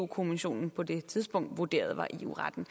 kommissionen på det tidspunkt vurderede var eu retten